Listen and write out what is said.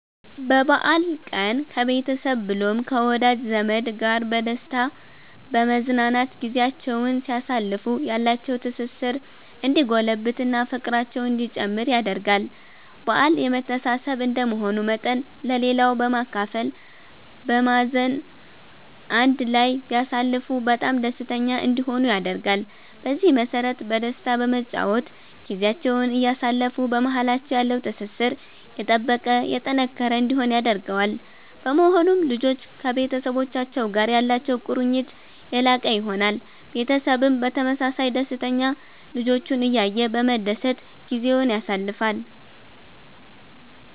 በበአል ቀን ከቤተሰብ ብሎም ከወዳጅ ዘመድ ጋር በደስታ በመዝናናት ጊዚያቸዉን ሲያሳልፉ ያላቸዉ ትስስር እንዲጎለብት እና ፍቅራቸዉ እንዲጨምር ያደርጋል በአል የመተሳሰብ እንደመሆኑ መጠን ለሌላዉ በማካፈል በማዘን አንድ ላይ ቢያሳልፉ በጣም ደስተኛ እንዲሆኑ ያደርጋል። በዚህ መሰረት በደስታ በመጨዋወት ጊዚያቸዉን እያሳለፉ በማሃላቸዉ ያለዉ ትስስር የጠበቀ የጠነከረ እንዲሆን ያደርገዋል። በመሆኑም ልጆች ከቤተሰቡቻቸዉ ጋር ያላቸዉ ቁርኝት የላቀ ይሆናል። ቤተሰብም በተመሳሳይ ደስተኛ ልጆቹን እያየ በመደሰት ጊዜዉን ያሳልፋል